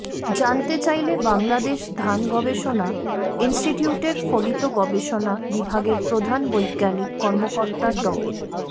জানতে চাইলে বাংলাদেশ ধান গবেষণা ইনস্টিটিউটের ফলিত গবেষণা বিভাগের প্রধান বৈজ্ঞানিক কর্মকর্তা ড